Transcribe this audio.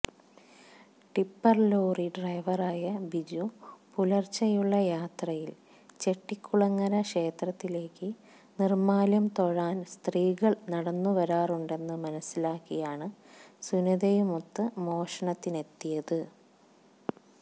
tipper lorry ഡ്രൈവറായ ബിജു പുലര്ച്ചെയുള്ള യാത്രയില് ചെട്ടികുളങ്ങര ക്ഷേത്രത്തിലേക്ക് നിര്മ്മാല്യം തൊഴാന് സ്ത്രീകള് നടന്നു വരാറുണ്ടെന്ന് മനസിലാക്കിയാണ് സുനിതയുമൊത്ത് മോഷണത്തിനെത്തിയത്